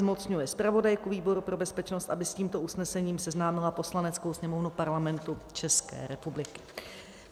Zmocňuje zpravodajku výboru pro bezpečnost, aby s tímto usnesením seznámila Poslaneckou sněmovnu Parlamentu České republiky.